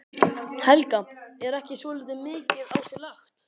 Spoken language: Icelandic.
Helga: Er ekki svolítið mikið á sig lagt?